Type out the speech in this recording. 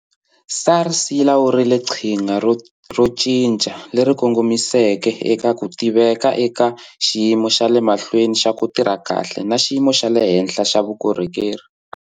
SARS yi lawurile qhinga ro cinca leri kongomiseke eka ku tiveka eka xiyimo xa le mahlweni xa ku tirha kahle na xiyimo xa le henhla xa vukorhokeri.